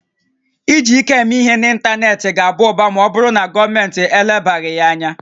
Iji ike eme ihe n'ịntanetị ga-aba ụba ma ọ bụrụ na gọọmentị elebaghị ya anya